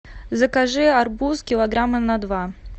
закажи арбуз килограмма на два